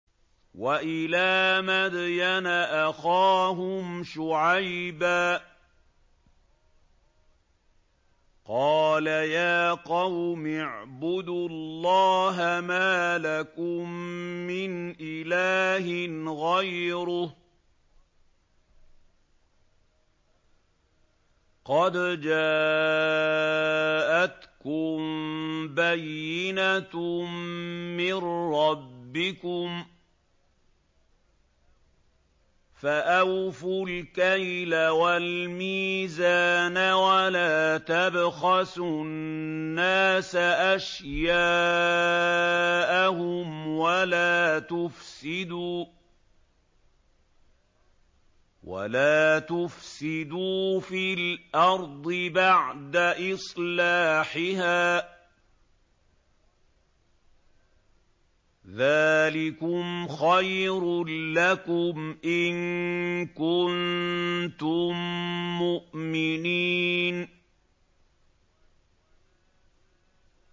وَإِلَىٰ مَدْيَنَ أَخَاهُمْ شُعَيْبًا ۗ قَالَ يَا قَوْمِ اعْبُدُوا اللَّهَ مَا لَكُم مِّنْ إِلَٰهٍ غَيْرُهُ ۖ قَدْ جَاءَتْكُم بَيِّنَةٌ مِّن رَّبِّكُمْ ۖ فَأَوْفُوا الْكَيْلَ وَالْمِيزَانَ وَلَا تَبْخَسُوا النَّاسَ أَشْيَاءَهُمْ وَلَا تُفْسِدُوا فِي الْأَرْضِ بَعْدَ إِصْلَاحِهَا ۚ ذَٰلِكُمْ خَيْرٌ لَّكُمْ إِن كُنتُم مُّؤْمِنِينَ